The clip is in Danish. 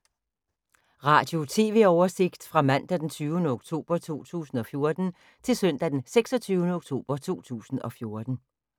Radio/TV oversigt fra mandag d. 20. oktober 2014 til søndag d. 26. oktober 2014